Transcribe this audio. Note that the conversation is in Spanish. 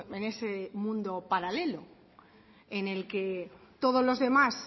en ese mundo paralelo en el que todos los demás